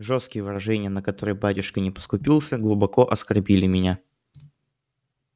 жёсткие выражения на которые батюшка не поскупился глубоко оскорбили меня